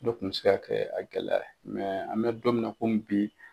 N'o kun mi se ka kɛ a gɛlɛya ye an bɛ don min na komi bi.